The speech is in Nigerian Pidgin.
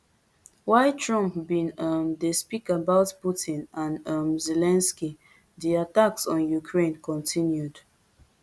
while trump bin um dey speak about putin and um zelensky di attacks on ukraine continued